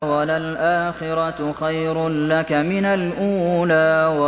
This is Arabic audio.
وَلَلْآخِرَةُ خَيْرٌ لَّكَ مِنَ الْأُولَىٰ